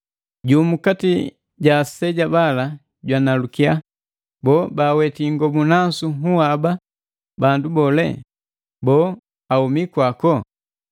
Jumu kati ja aseja bala jwanalukia, “Boo, baaweti ingobu nasu nhuu haba, bandu bole? Boo, ahumi kwako?”